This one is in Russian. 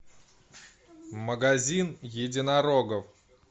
магазин единорогов